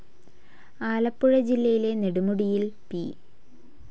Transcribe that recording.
ആലപ്പുഴ ജില്ലയിലെ നെടുമുടിയിൽ പി.